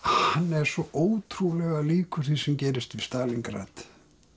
er svo ótrúlega líkur því sem gerist í Stalíngrad